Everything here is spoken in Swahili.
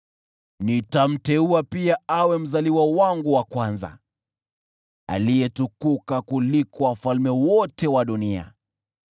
Nitamteua pia awe mzaliwa wangu wa kwanza, aliyetukuka kuliko wafalme wote wa dunia.